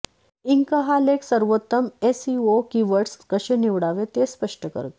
Inc हा लेख सर्वोत्तम एसइओ कीवर्ड्स कसे निवडावे ते स्पष्ट करते